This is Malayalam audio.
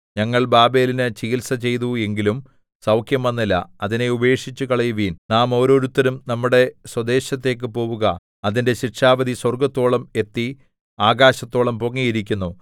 ഞങ്ങൾ ബാബേലിനു ചികിത്സ ചെയ്തു എങ്കിലും സൗഖ്യം വന്നില്ല അതിനെ ഉപേക്ഷിച്ചുകളയുവിൻ നാം ഓരോരുത്തനും നമ്മുടെ സ്വദേശത്തേക്കു പോവുക അതിന്റെ ശിക്ഷാവിധി സ്വർഗ്ഗത്തോളം എത്തി ആകാശത്തോളം പൊങ്ങിയിരിക്കുന്നു